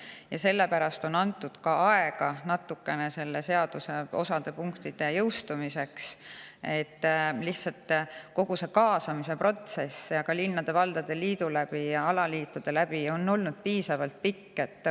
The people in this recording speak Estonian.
Just sellepärast on antud natukene rohkem aega seaduse osade punktide jõustumiseks, et kogu see kaasamise protsess, linnade-valdade liidu ja alaliitude on olnud piisavalt pikk.